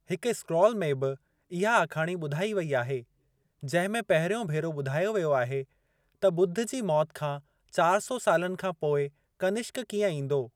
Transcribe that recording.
हिक स्क्रॉल में बि इहा आखाणी ॿुधाई वेई आहे, जंहिं में पहिरियों भेरो ॿुधायो वियो आहे त ॿुद्ध जी मौत खां चार सौ सालनि खां पोइ कनिष्क कीअं ईंदो।